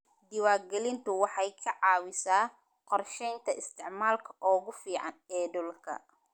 Diiwaangelintu waxay ka caawisaa qorsheynta isticmaalka ugu fiican ee dhulka.